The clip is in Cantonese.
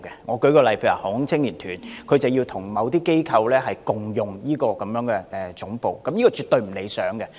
我舉一個例子，例如香港航空青年團需要跟某些機構共用總部，這情況絕對不理想。